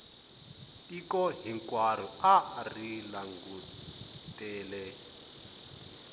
tiko hinkwaro a ri langutele